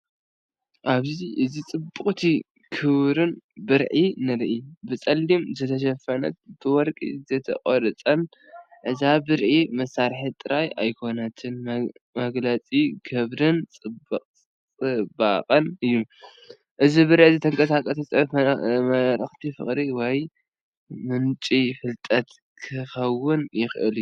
ኣብዚ እዚ ጽብቕትን ክቡርን ብርዒ ንርኢ። ብጸሊም ዝተሸፈነን ብወርቂ ዝተቖርጸን እዛ ብርዒ መሳርሒ ጥራይ ኣይኮነትን፤ መግለጺ ክብርን ጽባቐን እዩ። እዚ ብርዒ እዚ ተንቀሳቓሲ ጽሑፍ፡ መልእኽቲ ፍቕሪ፡ ወይ ምንጪ ፍልጠት ክኸውን ይኽእል እዩ።